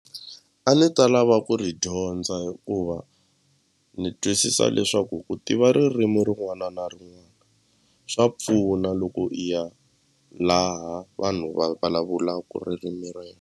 A ndzi ta lava ku ri dyondza hikuva ni twisisa leswaku ku tiva ririmi rin'wana na rin'wana swa pfuna loko i ya laha vanhu va vulavulaku ririmi .